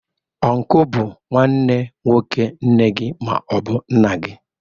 Ọnku bụ nwanne nwoke nne gị ma ọ bụ nna gị.